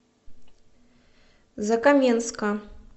закаменска